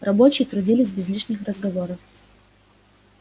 рабочие трудились без лишних разговоров